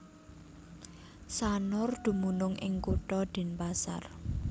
Sanur dumunung ing Kutha Denpasar